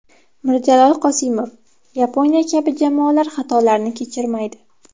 Mirjalol Qosimov: Yaponiya kabi jamoalar xatolarni kechirmaydi.